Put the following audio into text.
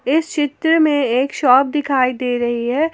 इस चित्र में एक शॉप दिखाई दे रही है।